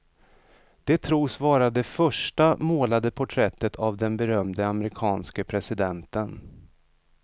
Det tros vara det första målade porträttet av den berömde amerikanske presidenten.